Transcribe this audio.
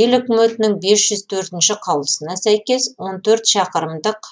ел үкіметінің бес жүз төртінші қаулысына сәйкес он төрт шақырымдық